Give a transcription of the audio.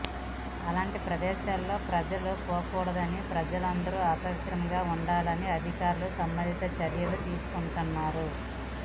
అలాంటి ప్రదేశాలు ప్రజలు పోకూడదని ప్రజలందరు అప్రమత్తంగా ఉండాలని అధికారులు సంబంధిత చర్యలు తీసుకుంటున్నారు